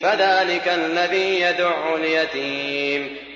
فَذَٰلِكَ الَّذِي يَدُعُّ الْيَتِيمَ